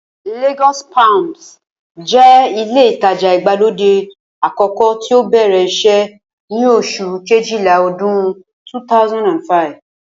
Lagos palms jẹ́ ilé ìtajà ìgbàlódé àkọ́kọ́ tí ó bẹ̀rẹ̀ iṣẹ́ ní oṣù kejìlá ọdún 2005